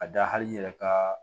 A da hali i yɛrɛ ka